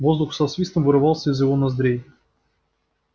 воздух со свистом вырывался из его ноздрей